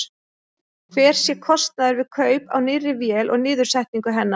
Hver sé kostnaður við kaup á nýrri vél og niðursetningu hennar?